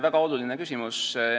Väga oluline küsimus.